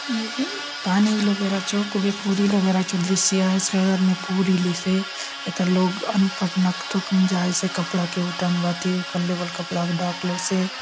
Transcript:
यह पानी इलो बेरा चो खूबे पूर इलो बेरा चो दृश्य आय शहर ने पूर इलिसे एथा लोग अनपढ़ लोग कसन जायसे कपड़ा के उठाउन भांति ऊपर ले बले कपड़ा के ढाकलोसे।